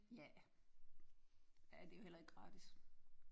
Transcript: Ja ja det er jo heller ikke gratis